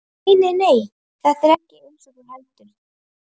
Nei, nei, þetta er ekkert eins og þú heldur.